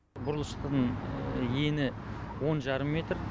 бұрылыстың ені он жарым метр